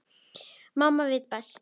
Mamma veit best.